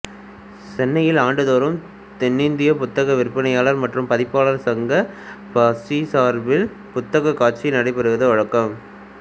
சென்னையில் ஆண்டுதோறும் தென்னிந்தியப் புத்தக விற்பனையாளர் மற்றும் பதிப்பாளர் சங்கம் பபாசி சார்பில் புத்தகக் காட்சி நடைபெறுவது வழக்கம்